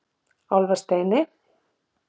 Álfasteini